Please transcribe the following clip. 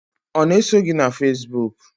Ọ na-eso gị na Facebook?